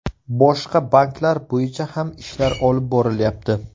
Boshqa banklar bo‘yicha ham ishlar olib borilyapti.